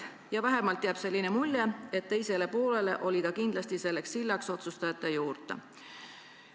Ja vähemalt jääb selline mulje, et teise poole jaoks oli ta kindlasti sild otsustajate juurde.